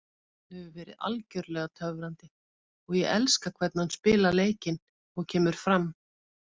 Hann hefur verið algjörlega töfrandi og ég elska hvernig hann spilar leikinn og kemur fram.